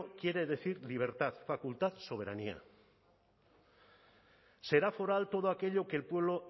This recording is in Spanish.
quiere decir libertad facultad soberanía será foral todo aquello que el pueblo